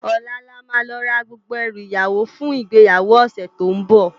Òlá làmá lò rá gbógbó èrú iyáwó fún igbéyáwó òsè tó n bò